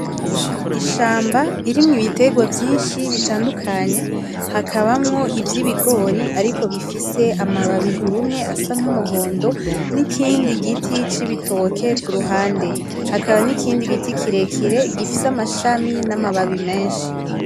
Ishamba ririmwo ibiterwa vyinshi bitandukanye hakabamwo ivy’ibigori ariko bifise amababi yumye asa nk’umuhondo n’ikindi giti c’ibitoke ku ruhande. Hakaba n’ikindi giti kirekire gifise amashami n’amababi menshi.